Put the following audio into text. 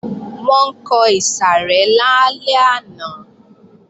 Wọ́n ń kọ ìsàrẹ́ lálẹ́ àná